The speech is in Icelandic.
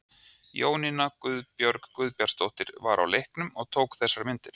Jónína Guðbjörg Guðbjartsdóttir var á leiknum og tók þessar myndir.